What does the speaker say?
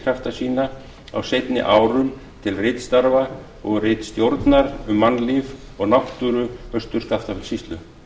krafta sína á seinni árum til ritstarfa og ritstjórnar um mannlíf og náttúru austur skaftafellssýslu